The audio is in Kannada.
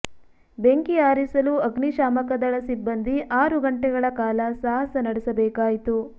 ಬೆಂಕಿ ಆರಿಸಲು ಅಗ್ನಿಶಾಮಕದಳ ಸಿಬ್ಬಂದಿ ಆರು ಗಂಟೆಗಳ ಕಾಲ ಸಾಹಸ ನಡೆಸಬೇಕಾಯಿತು